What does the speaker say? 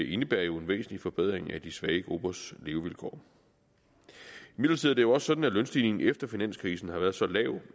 indebærer jo en væsentlig forbedring af de svage gruppers levevilkår imidlertid er det jo også sådan at lønstigningen efter finanskrisen har været så lav